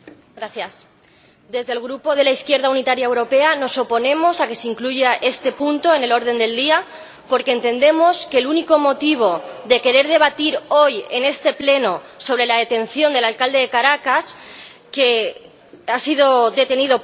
Señor Presidente, desde el Grupo de la Izquierda Unitaria Europea nos oponemos a que se incluya este punto en el orden del día porque entendemos que el único motivo de querer debatir hoy en este Pleno sobre la detención del alcalde de Caracas es